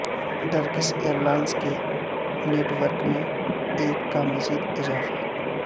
Turkish airlines کے network میں ایک کا مزید اضافہ